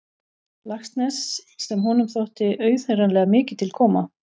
Laxness sem honum þótti auðheyranlega mikið til koma.